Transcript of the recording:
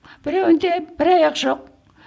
біреуінде бір аяқ жоқ